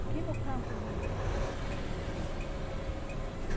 Aqui no campo vinha o tempo de cheia